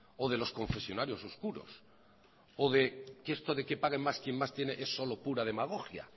o de los confesionarios oscuros o de que esto de que paguen más quien más tiene es solo pura demagogia